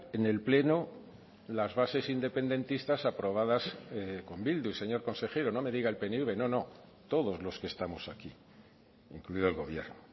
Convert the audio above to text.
en el pleno las bases independentistas aprobadas con bildu señor consejero no me diga el pnv no no todos los que estamos aquí incluido el gobierno